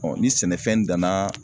ni sɛnɛfɛn danna